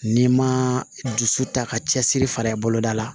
N'i ma dusu ta ka cɛsiri fara i boloda la